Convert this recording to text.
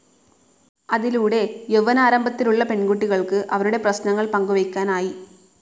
അതിലൂടെ യൌവ്വനാരംഭത്തിലുള്ള പെൺകുട്ടികൾക്ക് അവരുടെ പ്രശ്നങ്ങൾ പങ്കുവെക്കാനായി.